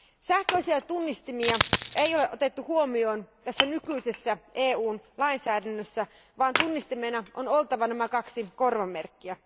Sähköisiä tunnistimia ei ole otettu huomioon nykyisessä EUn lainsäädännössä, vaan tunnistimena on oltava kaksi korvamerkkiä.